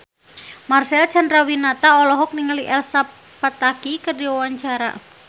Marcel Chandrawinata olohok ningali Elsa Pataky keur diwawancara